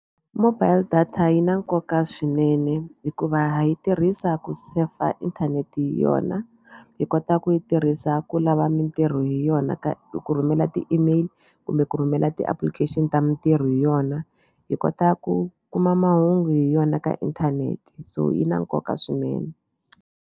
Mobile data yi na nkoka swinene hikuva yi tirhisa ku sefa inthanete hi yona yi kota ku yi tirhisa ku lava mitirho hi yona ka ku rhumela ti-email kumbe ku rhumela ti-application ta mitirho hi yona. Hi kota ku kuma mahungu hi yona ka inthanete so yi na nkoka swinene